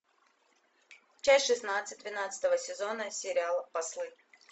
часть шестнадцать двенадцатого сезона сериала послы